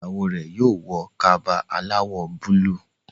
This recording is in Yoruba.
ìyàwó rẹ yóò wọ Kaba aláwọ̀ búlúù